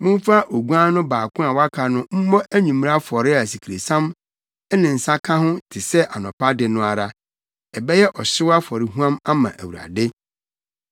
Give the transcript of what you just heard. Momfa oguan no baako a waka no mmɔ anwummere afɔre a asikresiam ne nsa ka ho te sɛ anɔpa de no ara. Ɛbɛyɛ ɔhyew afɔrehuam ama Awurade.